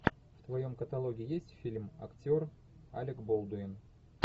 в твоем каталоге есть фильм актер алек болдуин